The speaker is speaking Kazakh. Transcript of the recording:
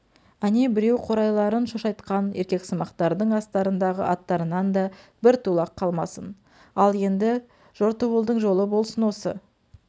әне біреу қурайларын шошайтқан еркексымақтардың астарындағы аттарынан да бір тулақ қалмасын ал енді жортуылдың жолы болсын осы